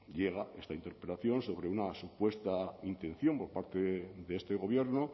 llega esta interpelación sobre una supuesta intención por parte de este gobierno